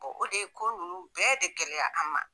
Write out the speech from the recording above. o de ye ko nunnu bɛɛ de gɛlɛya an ma.